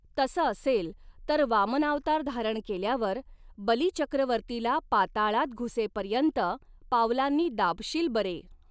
तसं असेल तर, वामनावतार धारण केल्यावर बलीचक्रवर्तीला पाताळात घुसेपर्यंत पावलांनी दाबशील बरे